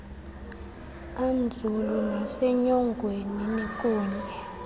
anzulu nasenyongweni nikunye